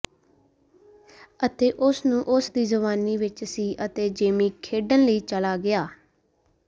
ਅਤੇ ਇਸ ਨੂੰ ਉਸ ਦੀ ਜਵਾਨੀ ਵਿੱਚ ਸੀ ਅਤੇ ਜੇਮੀ ਖੇਡਣ ਲਈ ਚਲਾ ਗਿਆ